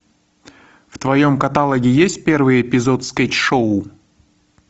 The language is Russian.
в твоем каталоге есть первый эпизод скетч шоу